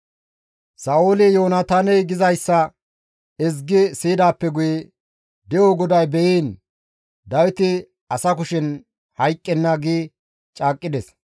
Sa7ooli Yoonataaney gizayssa ezgi siyidaappe guye, «De7o GODAY be7iin, Dawiti asa kushen hayqqenna» gi caaqqides.